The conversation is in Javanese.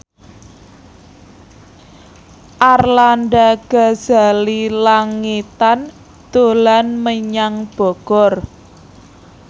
Arlanda Ghazali Langitan dolan menyang Bogor